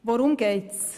Worum geht es?